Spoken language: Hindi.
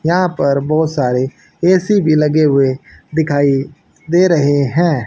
यहां पर बहुत सारे ए_सी भी लगे हुए दिखाई दे रहे हैं।